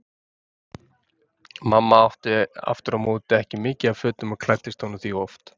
Mamma átti aftur á móti ekki mikið af fötum og klæddist honum því oft.